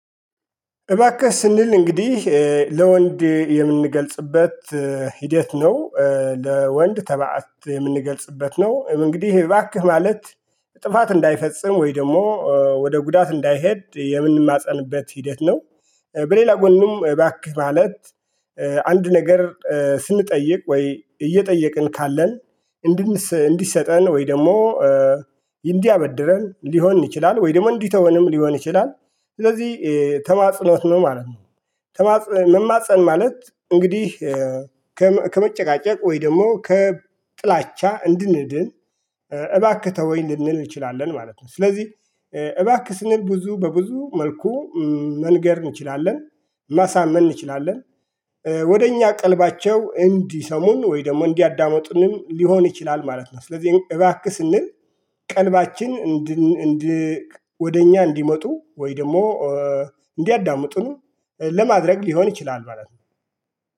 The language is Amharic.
እባክህ ስንል እንግዲህ ለወንድ የምንገልጽበት ሂደት ነው። ለወንድ ተባእት የምንገልጽበት ነው እንግዲህ እባክህ ማለት ጥፋት እንዳይፈጽም ወይ ደግሞ ወደ ጉዳት እንዳይሄድ የምንማፀንበት ሂደት ነው በሌላ ጎንም እባክህ ማለት አንድ ነገር ስንጠይቅ ወይ እየጠየቅን ካለን እንዲሰጠን ወይ ደግሞ እንዲያበድረን ሊሆን ይችላል ወይ ደግሞ እንዲተወንም ሊሆን ይችላል ስለዚህ ተማጽኖት ነው ማለት ነው መማጸን ማለት እንግዲህ ከመጨቃጨቅ ወይ ደግሞ ከጥላቻ እንድንድን እባክህ ተወኝ ልንል እንችላለን ማለት ነው ስለዚህ እባክህ ስንል ብዙ በብዙ መልኩ መንገር እንችላለን ማሳመን እንችላለን ወደ እኛ ቀልባቸው እንዲሰሙን ወይ ደግሞ እንዲያዳምጡንም ሊሆን ይችላል ማለት ነው ስለዚህ እባክህ ስንል ቀልባችን ወደ እኛ እንዲመጡ ወይ ደግሞ እንዲያዳምጡን ለማድረግ ሊሆን ይችላል ማለት ነው።